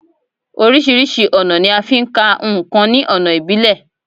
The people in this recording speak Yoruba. Orísirísi ọ̀nà ni a ń fí ka ǹkan ní ọ̀nà ìbílẹ̀